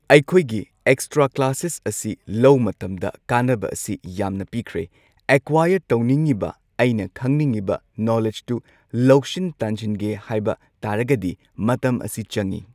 ꯑꯩꯈꯣꯏꯒꯤ extra classes ꯑꯁꯤ ꯂꯧ ꯃꯇꯝꯗ ꯀꯥꯟꯅꯕ ꯑꯁꯤ ꯌꯥꯝꯅ ꯄꯤꯈ꯭ꯔꯦ ꯑꯦꯀ꯭ꯋꯥꯏꯔ ꯇꯧꯅꯤꯡꯉꯤꯕ ꯑꯩꯅ ꯈꯪꯅꯤꯡꯉꯤꯕ ꯅꯣꯂꯦꯗꯖꯇꯨ ꯂꯧꯁꯤꯟ ꯇꯥꯟꯖꯤꯟꯒꯦ ꯍꯥꯏꯕ ꯇꯥꯔꯒꯗꯤ ꯃꯇꯝ ꯑꯁꯤ ꯆꯪꯉꯤ꯫